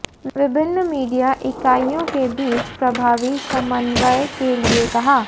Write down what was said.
विभिन्न मीडिया इकाइयों के बीच प्रभावी समन्वय के लिए कहा